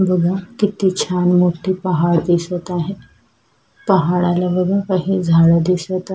बघा किती छान मोठे पहाड दिसत आहेत पहाडाला बघा काही झाडं दिसत आहे.